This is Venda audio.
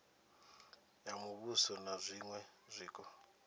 ya muvhuso na zwiṅwe zwiko